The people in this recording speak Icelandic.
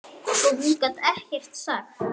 Svo hún gat ekkert sagt.